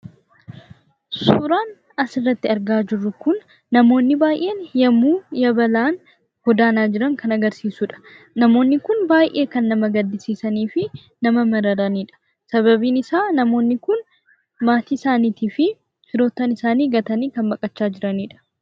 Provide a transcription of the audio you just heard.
Suuraan asirratti argaa jirru kun namoonni baay'een yemmuu yabalaan godaanaa jiran kan agarsiisudha. Namoonni kun kan baay'ee nama gaddisiisanii fi nama mararanidha. Sababiin isaa namoonni kun maatii isaanii fi firoottan kan baqachaa jiranidha.